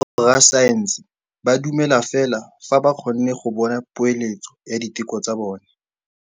Borra saense ba dumela fela fa ba kgonne go bona poeletsô ya diteko tsa bone.